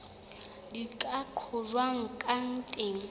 di ka qojwang ka teng